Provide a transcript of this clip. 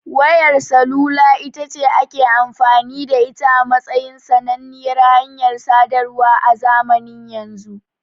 Wayar salula itace ake amfani da ita a matsayin sananniyar hanyar sadarwa a zamanin yanzu.